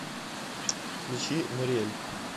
включи нориэль